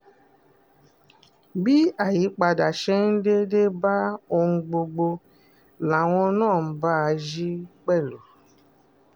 bí àyípadà ṣe ń dé dé bá ohun gbogbo làwọn náà ń bá a yí pẹ̀lú